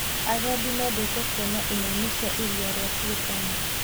Agendi mendete kuona ing'ang'i cia iria rĩa Turkana.